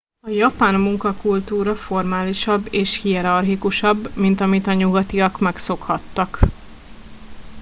a japán munkakultúra formálisabb és hierarchikusabb mint amit a nyugatiak megszokhattak